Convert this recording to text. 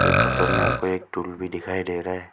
ये फोटो में हमको एक टूल भी दिखाई दे रहा है।